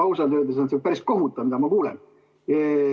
Ausalt öeldes on see päris kohutav, mida ma kuulen.